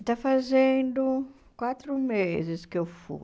Está fazendo quatro meses que eu fui.